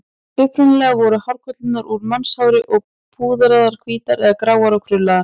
Upprunalega voru hárkollurnar úr mannshári og púðraðar hvítar eða gráar og krullaðar.